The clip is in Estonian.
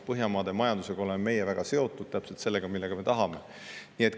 Me oleme väga seotud Põhjamaade majandusega, täpselt sellega me tahamegi.